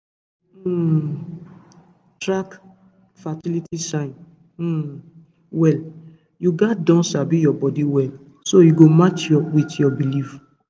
to dey um track fertility signs um well you gats don sabi your body well so e go match with your belief